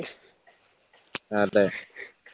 അതെ